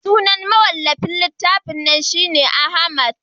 sunan mawallafin littafin nan shi ne Ahmad